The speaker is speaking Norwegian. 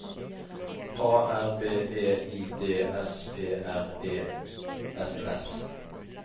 A R B E I D S P R E S S